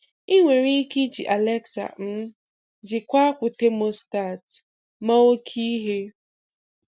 Ị nwere ike iji Alexa um jịkwaa akwụ tamostat ma oke ihe.